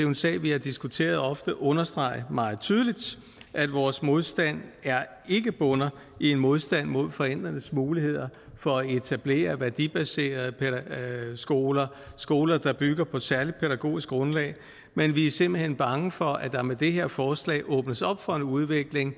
en sag vi har diskuteret ofte understrege meget tydeligt at vores modstand ikke bunder i en modstand mod forældrenes muligheder for at etablere værdibaserede skoler skoler der bygger på et særlig pædagogisk grundlag men vi er simpelt hen bange for at der med det her forslag åbnes op for en udvikling